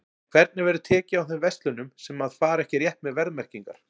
En hvernig verður tekið á þeim verslunum sem að fara ekki rétt með verðmerkingar?